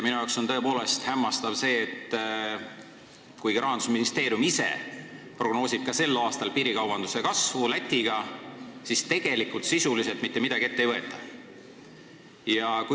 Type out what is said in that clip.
Minu jaoks on tõepoolest hämmastav see, et kuigi Rahandusministeerium ise prognoosib ka sel aastal Eesti-Läti piirikaubanduse kasvu, sisuliselt mitte midagi ette ei võeta.